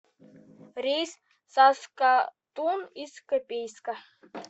рейс в саскатун из копейска